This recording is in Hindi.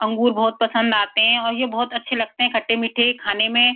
अंगूर बहोत पसंद आते हैं और ये बहोत अच्छे लगते हैं खट्टे-मीठे खाने में।